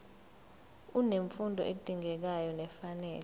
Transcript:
unemfundo edingekayo nefanele